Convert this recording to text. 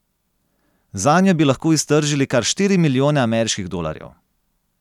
Zanjo bi lahko iztržili kar štiri milijone ameriških dolarjev.